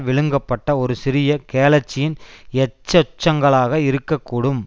விழுங்கப்பட்ட ஒரு சிறிய கேலக்சியின் எச்சசெச்சங்களாக இருக்க கூடும்